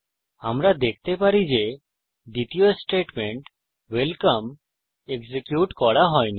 আমরা দেখতে পারি যে দ্বিতীয় স্টেটমেন্ট ওয়েলকাম এক্সিকিউট করা হইনি